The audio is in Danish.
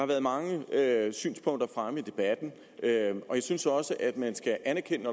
været mange synspunkter fremme i debatten og jeg synes også at man skal anerkende at